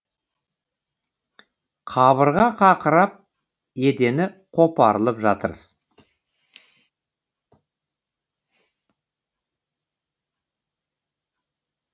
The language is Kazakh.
қабырға қақырап едені қопарылып жатыр